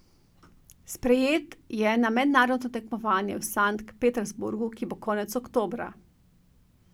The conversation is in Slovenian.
Sprejet je na mednarodno tekmovanje v Sankt Petersburg, ki bo konec oktobra.